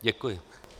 Děkuji.